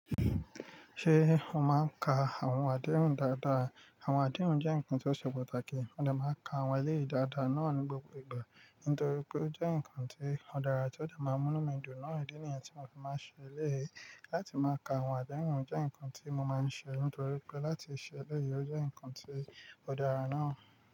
Ṣé o máa ń ka àwọn adérùn dáadáa? Àwọn adérùn jẹ́ nǹkan tó ṣe pàtàkì, ó dà máa ka àwọn eléyìí dáadáa náà ní gbogbo ìgbà. Nítorí pé ó jẹ́ nǹkan tó dára tí ó dà máa mú mí dùn náà rí ní ènìyàn tí mo fi máa ṣe eléyìí. Láti máa ka àwọn adérùn jẹ́ nǹkan tí mo máa ń ṣe nítorí pé láti ṣe eléyìí ó jẹ́ nǹkan tí ó dára náà.